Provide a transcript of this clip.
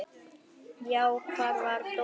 Já, hvar var Dóri?